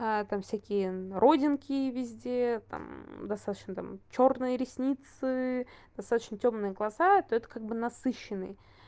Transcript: там всякие родинки везде там достаточно там чёрные ресницы достаточно тёмные глаза то это как бы насыщенный